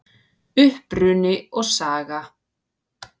Uppruni og saga